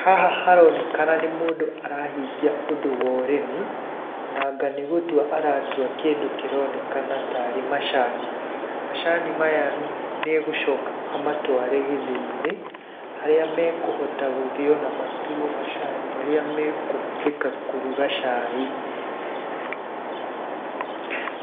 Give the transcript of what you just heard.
Haha haronekana nĩ mũndũ arahingia ũndũ wa ũrĩmi, na anga nĩ gũtua aratua kĩndũ kĩronekana ta rĩ macani. Macani maya nĩegũcoka amatware gĩthĩi-inĩ harĩa mekũhota gũthio na matuo macani marĩa mekũhũthĩka kũruga cai.